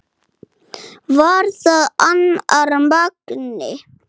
Var það annar Magni?